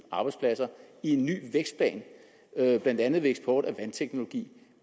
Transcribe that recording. arbejdspladser i en ny vækstplan blandt andet ved eksport af vandteknologi